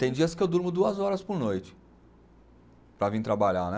Tem dias que eu durmo duas horas por noite para vir trabalhar, né?